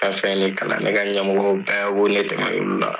kalan ne ka ɲamɔgɔw bɛɛ kɔ ne tɛmɛn'olu la